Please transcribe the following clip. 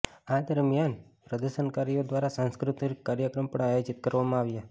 આ દરમિયાન પ્રદર્શનકારીઓ દ્વારા સાંસ્કૃત્તિક કાર્યક્રમ પણ આયોજિત કરવામાં આવ્યા